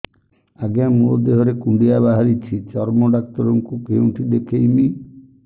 ଆଜ୍ଞା ମୋ ଦେହ ରେ କୁଣ୍ଡିଆ ବାହାରିଛି ଚର୍ମ ଡାକ୍ତର ଙ୍କୁ କେଉଁଠି ଦେଖେଇମି